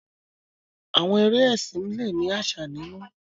Àwọn eré ẹsìn le ni àsà nínú.